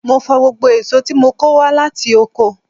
Mo fọ gbogbo èso tí mo kò wá láti oko.